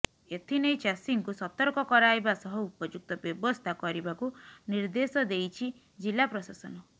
ଏଥିନେଇ ଚାଷୀଙ୍କୁ ସତର୍କ କରାଇବା ସହ ଉପଯୁକ୍ତ ବ୍ୟବସ୍ଥା କରିବାକୁ ନିର୍ଦ୍ଦେଶ ଦେଇଛି ଜିଲ୍ଲା ପ୍ରଶାସନ